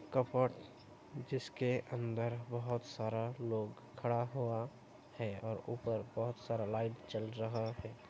जिसके अंदर बोहोत सारा लोग खड़ा हुआ है और ऊपर बोहोत सारा लाइट जल रहा है|